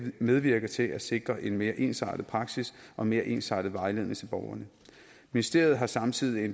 medvirke til at sikre en mere ensartet praksis og mere ensartet vejledning til borgerne ministeriet har samtidig